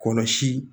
Kɔlɔsi